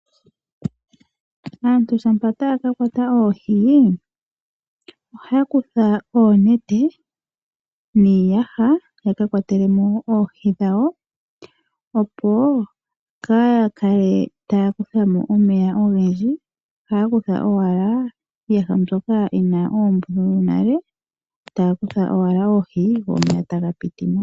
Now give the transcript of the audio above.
Aantu ngele taya kakwata oohi, ohaya kutha oonete niiyaha, yaka kwatelemo oohi dhawo opo kaaya kale taya kuthamo omeya ogendji, ohaya kutha owala iiyaha mbyoka yina oombululu. Ngele iiyaha mbino tayi kwata oohi, oohi ohadhi kalamo, omanga omeya ohaga zimo.